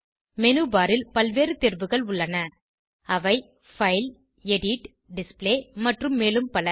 menu bar ல் பல்வேறு தேர்வுகள் உள்ளன அவை பைல் எடிட் டிஸ்ப்ளே மற்றும் மேலும் பல